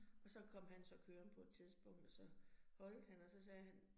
Og så kom han så kørende på et tidspunkt, og så holdt han, og så sagde han